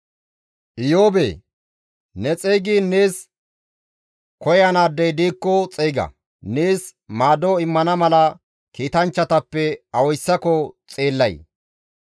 «Iyoobee! Ne xeygiin nees koyanaadey diikko xeyga; nees maado immana mala kiitanchchatappe awayssako xeellay?